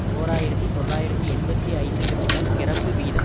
ஓர் ஆயிரத்தி தொள்ளாயிரத்தி எண்பத்தி ஐந்துக்குப் பின்னர் பிறப்பு வீதம்